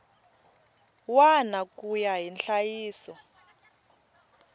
wana ku ya hi nhlayiso